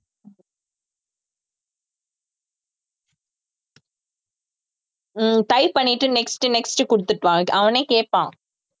ஹம் type பண்ணிட்டு next next குடுத்துட்டுவா அவனே கேட்பான்